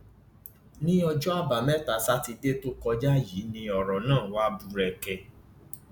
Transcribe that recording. ní ọjọ àbámẹta sátidé tó kọjá yìí ni ọrọ náà wàá búrẹkẹ